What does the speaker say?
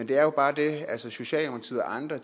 der er bare det at socialdemokratiet og andre